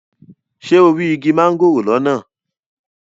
Ṣé o rí igi mángòrò lọ́nà?